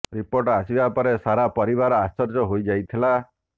report ଆସିବା ପରେ ସାରା ପରିବାର ଆଶ୍ଚର୍ଯ୍ୟ ହୋଇ ଯାଇଥିଲା